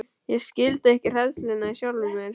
Ég skildi ekki hræðsluna í sjálfum mér.